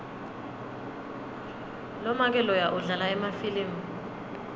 lomake loya udlala emafilimu